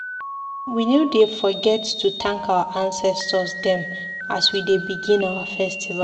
We no dey forget to tank our ancestor dem as we dey begin our festival.